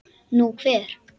Nú, hver?